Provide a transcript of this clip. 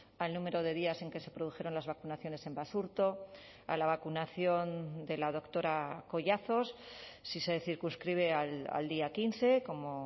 al número de días en que se produjeron las vacunaciones en basurto a la vacunación de la doctora collazos si se circunscribe al día quince como